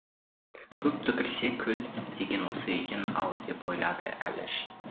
көп түкірсе көл деген осы екен ау деп ойлады әліш